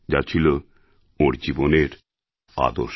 যা ছিলওঁর জীবনের আদর্শ